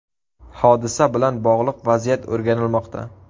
Hodisa bilan bog‘liq vaziyat o‘rganilmoqda.